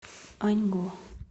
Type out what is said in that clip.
аньго